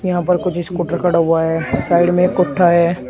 यहां पर कुछ स्कूटर खड़ा हुआ है साइड में एक कुत्ता है।